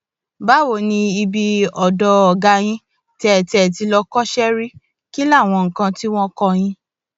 báwo ni ibi ọdọ ọgá yín tẹ tẹ ẹ ti lọ kọsẹ ṣe rí kí láwọn nǹkan tí wọn kọ yín